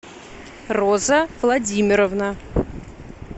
роза владимировна